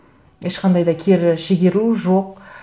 ешқандай да кері шегеру жоқ